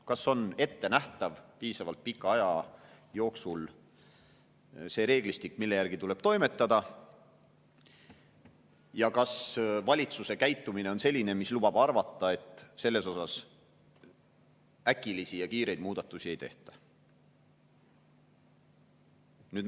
Kas on piisavalt pika aja jooksul ettenähtav see reeglistik, mille järgi tuleb toimetada, ja kas valitsuse käitumine lubab arvata, et äkilisi ja kiireid muudatusi ei tehta?